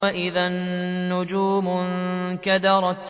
وَإِذَا النُّجُومُ انكَدَرَتْ